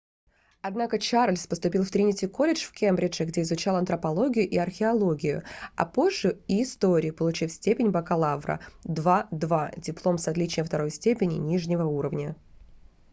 однако чарльз поступил в тринити-колледж в кембридже где изучал антропологию и археологию а позже и историю получив степень бакалавра 2:2 диплом с отличием второй степени нижнего уровня